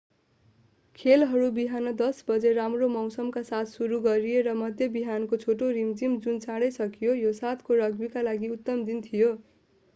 खेलहरू बिहान 10:00 बजे राम्रो मौसमका साथ सुरु गरिए र मध्य बिहानको छोटो रिमझिम जुन चाँडै सकियो यो 7 को रग्बीका लागि उत्तम दिन थियो